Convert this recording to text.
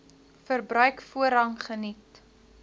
verbruik voorrang geniet